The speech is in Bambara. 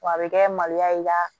W'a be kɛ maloya i ka